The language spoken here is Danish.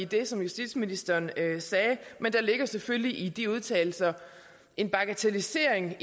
det som justitsministeren sagde men der ligger selvfølgelig i de udtalelser en bagatellisering af